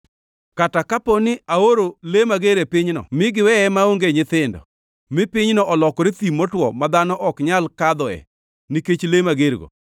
“Kata kapo ni aoro le mager e pinyno mi giweye maonge nyithindo, mi pinyno olokore thim motwo ma dhano ok nyal kadhoe nikech le magergo,